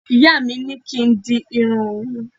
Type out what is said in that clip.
Ìyá mi ní kín di irun mi